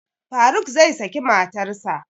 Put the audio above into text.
Faruk zai saki matarsa